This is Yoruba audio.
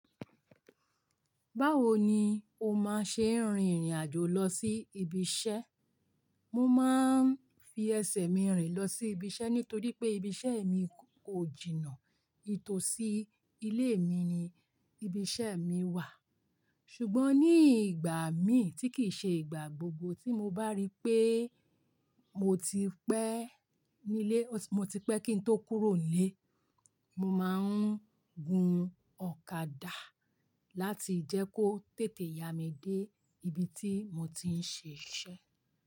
Báwo ni o máa ṣe rìn irìn àjò lọ sí ibi iṣẹ́? Mo máa ń fi ẹsẹ̀ mi rìn lọ sí ibi iṣẹ́ nítorí pé ibi iṣẹ́ mi kò jìnnà. Ètò sí ilé mi ni ibi iṣẹ́ mi wà. Ṣùgbọ́n ní ìgbà mi tí kìí ṣe ìgbà gbogbo tí mo bá rí pé mo ti pẹ́ nílé ó ti, mo ti pẹ́ kí n tó kúrò nílé, mo máa ń gun ọ̀kadà láti jẹ́ kó tètè ya mi dé ibi tí mo ti ń ṣe iṣẹ́